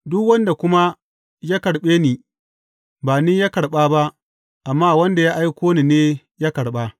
Duk wanda kuma ya karɓe ni, ba ni ya karɓa ba, amma wanda ya aiko ni ne ya karɓa.